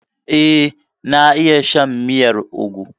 Eh, na iya shan miyar ugwu.